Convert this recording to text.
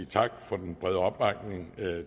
tak for den brede opbakning